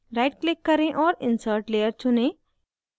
right click करें और insert layer चुनें